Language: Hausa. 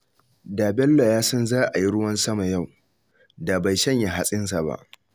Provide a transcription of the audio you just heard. Da Bello ya san za a yi ruwan sama yau, da bai shanya hatsinsa ba